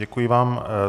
Děkuji vám.